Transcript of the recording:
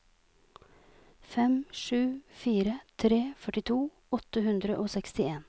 fem sju fire tre førtito åtte hundre og sekstien